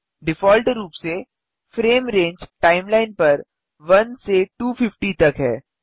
default रूप से frame range timeline पर 1 से 250 तक है